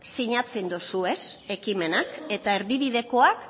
sinatzen dozue ekimenak eta erdibidekoak